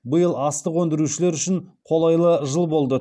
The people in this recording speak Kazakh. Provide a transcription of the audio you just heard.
биыл астық өндірушілер үшін қолайлы жыл болды